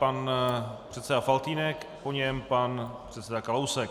Pan předseda Faltýnek, po něm pan předseda Kalousek.